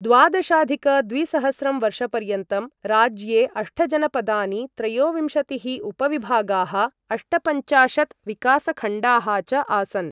द्वादशाधिक द्विसहस्रं वर्षपर्यन्तं, राज्ये अष्टजनपदानि, त्रयोविंशतिः उपविभागाः, अष्टपञ्चाशत् विकासखण्डाः च आसन्।